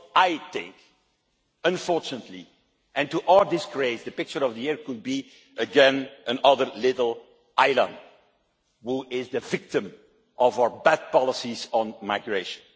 I think, unfortunately, and to our disgrace, the picture of the year could be again another little Alan who is the victim of our bad policies on migration.